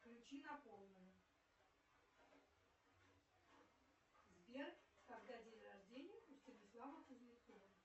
включи на полную сбер когда день рождения у станислава кузнецова